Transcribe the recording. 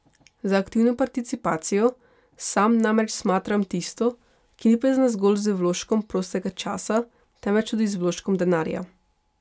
Za aktivno participacijo sam namreč smatram tisto, ki ni povezana zgolj z vložkom prostega časa, temveč tudi z vložkom denarja.